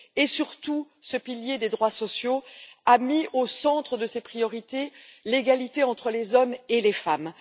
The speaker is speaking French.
Et, surtout, ce pilier des droits sociaux a mis au centre de ses priorités l'égalité entre les hommes et les femmes.